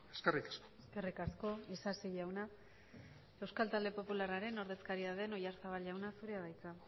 eskerrik asko eskerrik asko isasi jauna euskal talde popularraren ordezkaria den oyarzabal jauna zurea da hitza